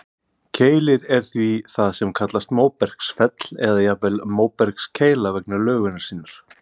Keilir er því það sem kallast móbergsfell, eða jafnvel móbergskeila vegna lögunar sinnar.